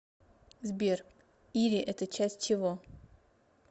сбер ири это часть чего